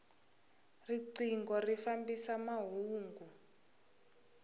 rinqingho ri fambisa mahungu